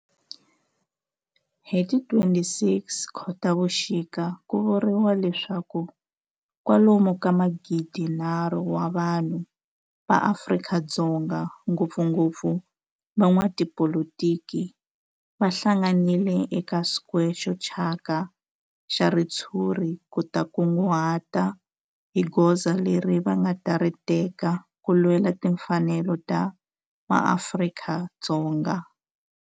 Hi ti 26 Khotavuxika ku vuriwa leswaku kwalomu ka magidinharhu wa vanhu va Afrika-Dzonga, ngopfungopfu van'watipolitiki va hlanganile eka square xo thyaka xa ritshuri ku ta kunguhata hi goza leri va nga ta ri teka ku lwela timfanelo ta maAfrika-Dzonga.